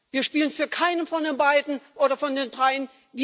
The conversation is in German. Wir spielen für keinen von beiden oder von den dreien.